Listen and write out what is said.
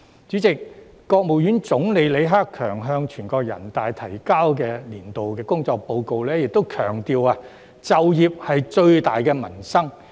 主席，國務院總理李克強向全國人大提交的工作報告亦強調"就業是最大的民生"。